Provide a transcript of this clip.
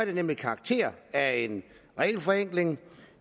det nemlig karakter af en regelforenkling